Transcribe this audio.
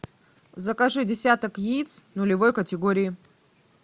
закажи десяток яиц нулевой категории